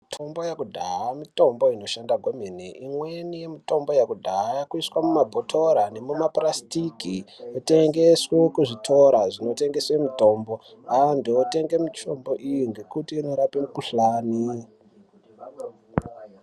Mitombo yekudhaaya mitombo inoshanda kwemene imweni mitombo yekudhaaya yakuiswe mumabhotora nemumaplastiki itengeswe kuzvitoro inotengeswe mitombo andu atenge mitombo iyi nekuti inorape mikhuhlani.